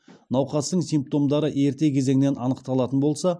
науқастың симптомдары ерте кезеңнен анықталатын болса